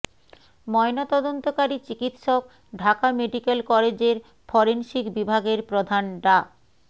ময়নাতদন্তকারী চিকিৎসক ঢাকা মেডিক্যাল কলেজের ফরেনসিক বিভাগের প্রধান ডা